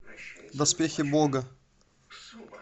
доспехи бога